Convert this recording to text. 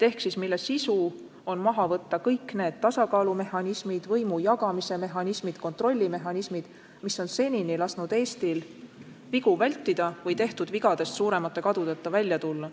Nende sisu on maha võtta kõik need tasakaalumehhanismid, võimu jagamise mehhanismid, kontrollimehhanismid, mis on senini võimaldanud Eestil vigu vältida või tehtud vigadest suuremate kadudeta välja tulla.